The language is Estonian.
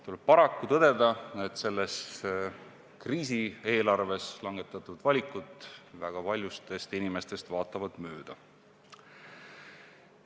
Tuleb paraku tõdeda, et selles kriisieelarves langetatud valikud vaatavad väga paljudest inimestest mööda.